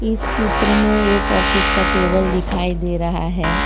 इस चित्र में एक ऑफिस का टेबल दिखाई दे रहा है।